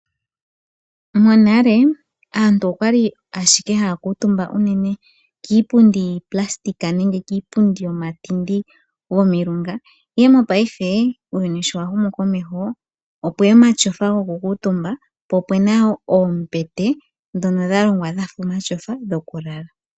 Monale aantu okwali ashike haya kuutumba uunene kiipundi yiipulasitika nenge kiipundi yomatindi gomilunga, ihe mopaife uuyuni showa humu komeho opweya omatyofa goku kuutumba, po opu na oombete ndhono dha longwa dha fa omatyofa dhokulala.